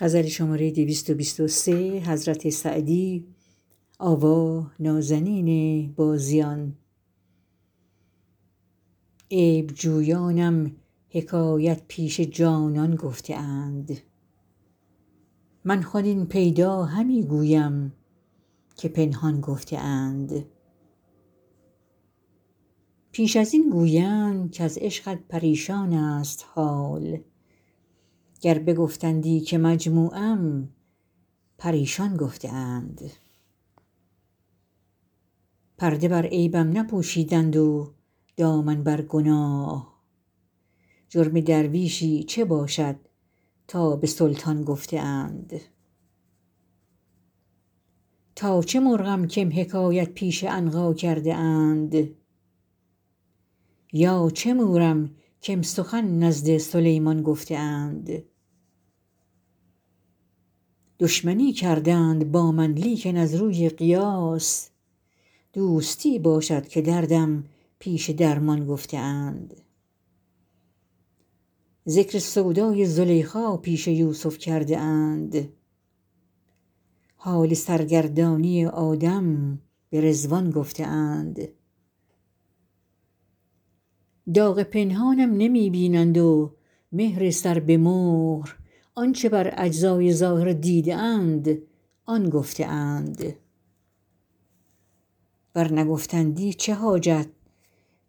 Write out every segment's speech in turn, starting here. عیب جویانم حکایت پیش جانان گفته اند من خود این پیدا همی گویم که پنهان گفته اند پیش از این گویند کز عشقت پریشان ست حال گر بگفتندی که مجموعم پریشان گفته اند پرده بر عیبم نپوشیدند و دامن بر گناه جرم درویشی چه باشد تا به سلطان گفته اند تا چه مرغم کم حکایت پیش عنقا کرده اند یا چه مورم کم سخن نزد سلیمان گفته اند دشمنی کردند با من لیکن از روی قیاس دوستی باشد که دردم پیش درمان گفته اند ذکر سودای زلیخا پیش یوسف کرده اند حال سرگردانی آدم به رضوان گفته اند داغ پنهانم نمی بینند و مهر سر به مهر آن چه بر اجزای ظاهر دیده اند آن گفته اند ور نگفتندی چه حاجت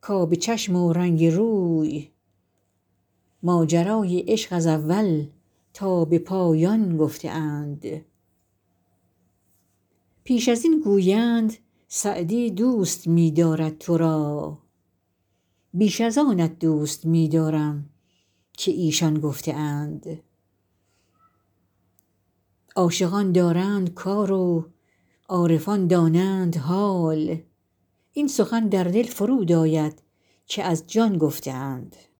کآب چشم و رنگ روی ماجرای عشق از اول تا به پایان گفته اند پیش از این گویند سعدی دوست می دارد تو را بیش از آنت دوست می دارم که ایشان گفته اند عاشقان دارند کار و عارفان دانند حال این سخن در دل فرود آید که از جان گفته اند